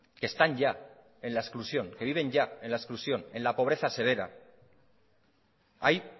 que están ya en la exclusión que viven ya en la exclusión en la pobreza severa hay